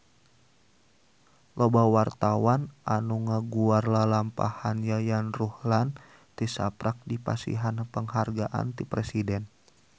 Loba wartawan anu ngaguar lalampahan Yayan Ruhlan tisaprak dipasihan panghargaan ti Presiden